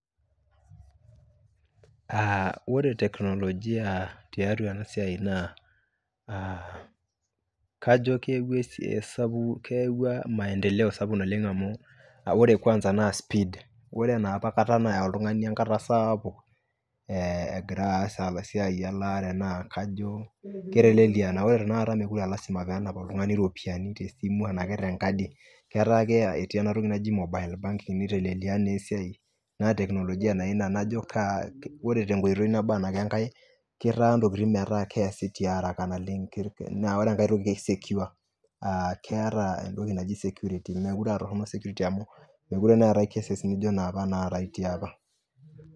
Ore teknolojia tiatua ena siai naa kajo keyaua maendeleo sapuk oleng Ore kwanza naa speed Ore enapa kata naya oltung'ani enkata sapuk egira aas esiai aalaare naa kajo keteleliaa Ore tanakata naa kajo mee lasima pee enap oltung'ani iropiyiani tesimu ashu tenkadi ketii ena toki naji mobile banking Ore enkae security, meekure eetae cases nijio inapa.